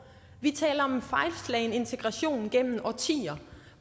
vi taler om fejlslagen integration gennem årtier